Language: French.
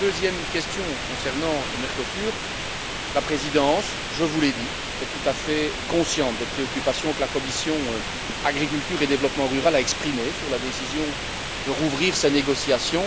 Concernant la deuxième question concernant le Mercosur, la Présidence, je vous l'ai dit, est tout à fait consciente des préoccupations que la commission de l'agriculture et du développement rural a exprimées sur la décision de rouvrir ces négociations.